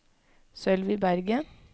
Sølvi Berget